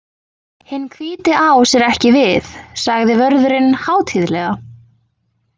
Hinn hvíti ás er ekki við, sagði vörðurinn hátíðlega.